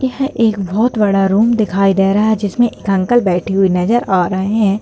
यह एक बहुत बड़ा रूम दिखाई दे रहा है जिसमे एक अंकल बैठे हुए नजर आ रहे है।